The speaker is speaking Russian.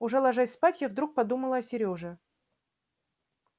уже ложась спать я вдруг подумала о серёже